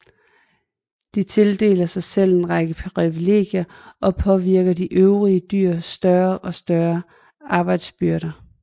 De tildeler sig selv en række privilegier og pålægger de øvrige dyr større og større arbejdsbyrder